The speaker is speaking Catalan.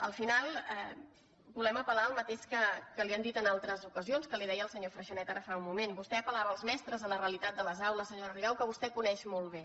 al final volem apel·lar al mateix que li han dit en altres ocasions que li deia el senyor freixanet fa un moment vostè apel·lava als mestres a la realitat de les aules senyo·ra rigau que vostè coneix molt bé